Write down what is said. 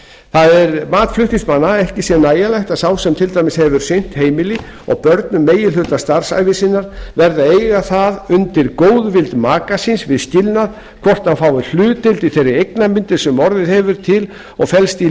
það er mat flutningsmanna að ekki sé nægjanlegt að sá sem til dæmis hefur sinnt heimili og börnum meginhluta starfsævi sinnar verði að eiga það undir góðvild maka síns við skilnað hvort hann fái hlutdeild í þeirri eignamyndun sem orðið hefur til og felst í